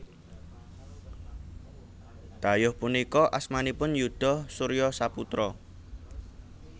Dhayoh punika asmanipun Yuda Surya Saputra